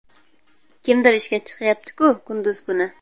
Kimdir ishga chiqyapti-ku kunduz kuni.